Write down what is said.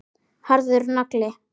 Harður nagli.